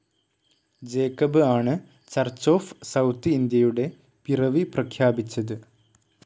Jacob ആണ് Church of South ഇന്ത്യയുടെ പിറവി പ്രഖ്യാപിച്ചത്.